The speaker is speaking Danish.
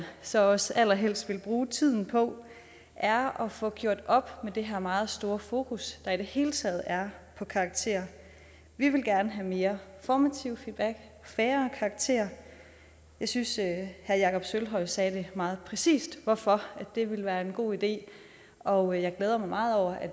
så også allerhelst vil bruge tiden på er at få gjort op med det her meget store fokus der i det hele taget er på karakterer vi vil gerne have mere formativ feedback og færre karakterer jeg synes at herre jakob sølvhøj sagde meget præcist hvorfor det ville være en god idé og jeg glæder mig meget over at